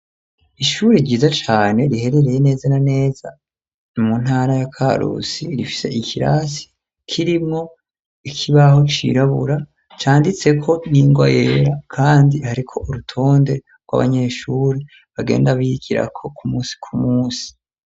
Ishure ryiza cane, riherereye neza na neza mu ntara ya Karusi, rifise ikirasi kirimwo ikibaho cirabura, canditseko n'ingwa yera kandi hariko urutonde rw'abanyeshure, bagenda bigirako ku munsi kumunsi.